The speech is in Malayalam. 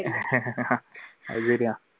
അത് ശരിയാ.